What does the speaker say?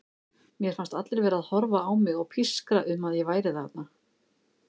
Mér fannst allir vera að horfa á mig og pískra um að ég væri þarna.